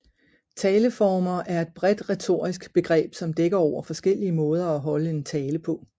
Taleformer er et bredt retorisk begreb som dækker over forskellige måder at holde en tale på